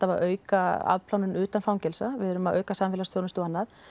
að auka afplánun utan fangelsa við erum að auka samfélagsþjónustu og annað